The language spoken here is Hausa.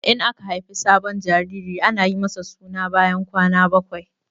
In aka haifi sabon jariri ana yi masa suna bayan kwana bakwai.